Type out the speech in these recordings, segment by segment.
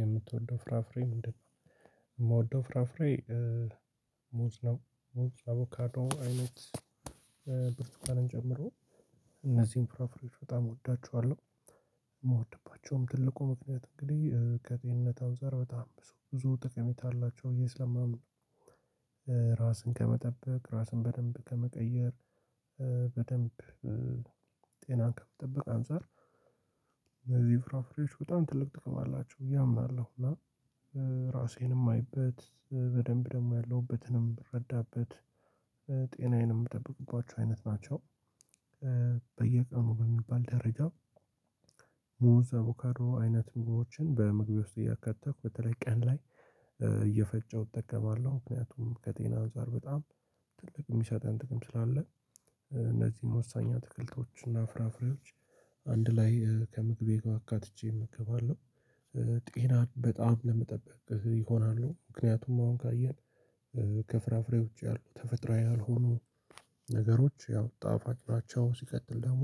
የምትወደው ፍራፍሬ ምንድነው? የምወደው ፍራፍሬ። ሙዝ ሙዝ አቮካዶ አይነት ብርቱካንን ጨምሮ እነዚህን ፍራፍሬዎች በጣም እወዳቸዋለሁ። እምወድባቸውም ትልቁ ምክንያት እንግዲህ ከጤንነት አንፃር በጣም ብዙ ጠቀሜታ አላቸው ብየ ስለማምን። ራስን ከመጠበቅ ራስን በደንብ ከመቀየር በደንብ ጤናን ከመጠበቅ አንፃር እነዚህ ፍራፍሬዎች በጣም ትልቅ ጥቅም አላቸው ብዬ አምናለሁ። እና ራሴንም እማይበት በደንብ ደግሞ ያለሁበትንም ምረዳበት ጤናዬንም የምጠብቁባቸው አይነት ናቸው። በየቀኑ በሚባል ደረጃ። ሙዝ አቦካዶ አይነት ምግቦችን በምግቤ ውስጥ እያካተትኩ በተለይ ቀን ላይ እየፈጨሁ እጠቀማለሁ። ምክንያቱም ከጤና አንፃር በጣም ትልቅ የሚሰጠን ጥቅም ስላለ። እነዚህን ወሳኝ አትክልቶች እና ፍራፍሬዎች አንድ ላይ ከምግቤ ጋ አካትቼ እመገባለሁ። ጤናን በጣም ለመጠበቅ ይሆናሉ ምክንያቱም አሁን ካየን። ከፍራፍሬ ውጪ ያሉ ተፈጥሮዊ ያልሆኑ ነገሮች ያው ጣፋጭ ናቸው ሲቀጥል ደግሞ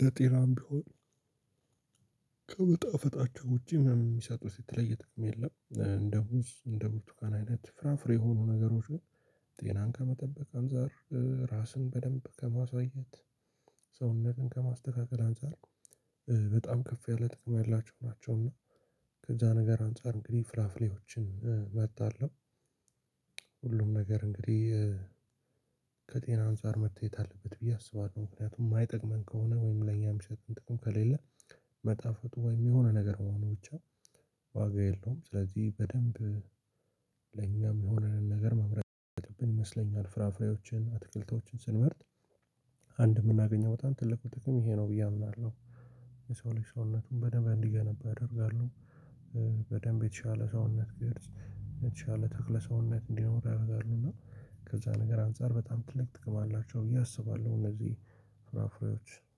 ለጤናም ቢሆን ከመጣፈጣቸው ውጪ ምንም የሚሰጡት የተለየ ጥቅም የለም። እንደ ሙዝ እንዴ ቡርቱካን አይነት ፍራፍሬ የሆኑ ነገሮች ግን ጤናን ከመጠበቅ አንፃር ራስን በደንብ ከማሳየት ሰውነትን ከማስተካከል አንፃር በጣም ከፍ ያለ ጥቅም ያላቸው ናቸው። እና ከዛ ነገር አንፃር እንግዲህ ፍራፍሬዎችን እመርጣለሁ። ሁሉም ነገር እንግዲህ ከጤና አንፃር መታየት አለበት ብዬ አስባለሁ። ምክንያቱም ማይጠቅመን ከሆነ ወይም ለኛ የሚሰጡን ጥቅም ከሌለ መጣፈጡ ወይም የሆነ ነገር መሆኑ ብቻ ዋጋ የለውም። ለኛም ሚሆነንን ነገር መምረጥ ያለብን ይመስለኛል ፍራፍሬዎችን አትክልቶችን ስንመርጥ። አንድ የምናገኘው በጣም ትልቁ ጥቅም ይሄ ነው ብዬ አምናለሁ። የሰው ልጅ ሰውነቱን በደንብ እንዲገነባ ያደርጋሉ። በደንብ የተሻለ ሰውነት ቅርጽ የተሻለ ተክለ ሰውነት እንዲኖር ያደርጋሉ እና ከዛ ነገር አንፃር በጣም ትልቅ ጥቅም አላቸው ብዬ አስባለሁ። እነዚህ ፍራፍሬዎች